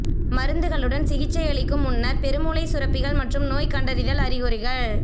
மருந்துகளுடன் சிகிச்சையளிக்கும் முன்னர் பெருமூளைச் சுரப்பிகள் மற்றும் நோய் கண்டறிதல் அறிகுறிகள்